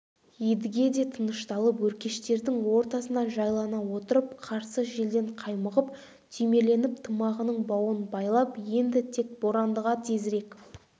едіге де тынышталып өркештердің ортасына жайлана отырып қарсы желден қаймығып түймеленіп тымағының бауын байлап енді тек борандыға тезірек